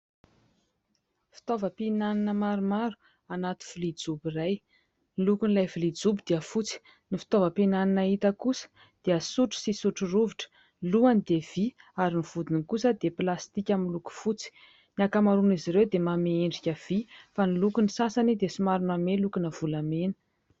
Fitaovam-pihinanana maromaro anato vilia jobo iray, ny lokon'ilay vilia jobo dia fotsy. Ny fitaovam-pihinanana hita kosa dia sotro sy sotro rovitra, ny lohany dia vy ary ny vodiny kosa dia plastika miloko fotsy ; ny ankamaroan'izy ireo dia manome endrika vy fa ny lokon'ny sasany dia somary manome lokona volamena.